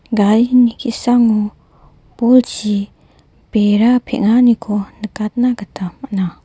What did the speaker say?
ki·sango bolchi bera peng·aniko nikatna gita man·a.